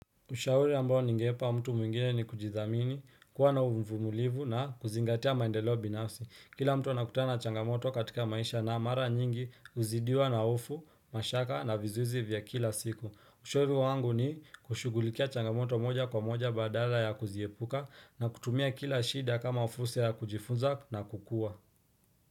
Ushauri ambao ningempa mtu mwingine ni kujithamini, kuwa na uvumulivu na kuzingatia maendeleo binafsi. Kila mtu anakutana changamoto katika maisha na mara nyingi uzidiwa na hofu, mashaka na vizuizi vya kila siku. Ushauri wangu ni kushugulikia changamoto moja kwa moja badala ya kuziepuka na kutumia kila shida kama fursa ya kujifunza na kukua.